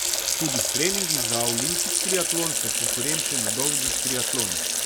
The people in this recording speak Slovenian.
Tudi s treningi za olimpik triatlon sem konkurenčen v dolgih triatlonih.